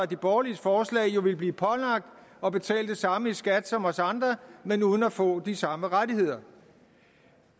de borgerliges forslag jo ville blive pålagt at betale det samme i skat som os andre men uden at få de samme rettigheder